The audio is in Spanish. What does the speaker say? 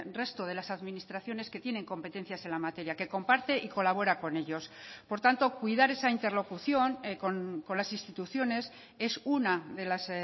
resto de las administraciones que tienen competencias en la materia que comparte y colabora con ellos por tanto cuidar esa interlocución con las instituciones es una de las